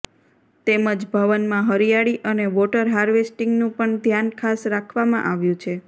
તેમજ ભવનમાં હરિયાળી અને વોટર હાર્વેસ્ટિંગનું પણ ધ્યાન ખાસ રાખવામાં આવ્યું છે